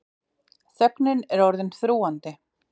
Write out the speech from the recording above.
Þögnin er orðin þrúgandi.